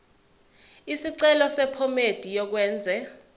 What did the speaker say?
isicelo sephomedi yokwenze